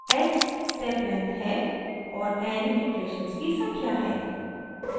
h step length है और n iterations की संख्या है